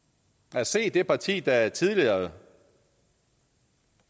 at se det parti der tidligere